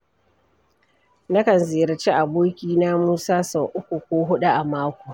Nakan ziyarci abokina Musa sau uku ko huɗu a mako.